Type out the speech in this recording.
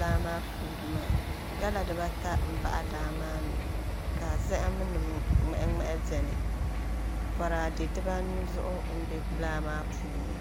laa maa puuni maa gala dibata n baɣa laa maa ni ka zaham nim ŋmahi ŋmahi bɛni boraadɛ dibanu zuɣu n bɛ laa maa puuni